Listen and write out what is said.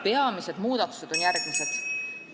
Peamised muudatused on järgmised.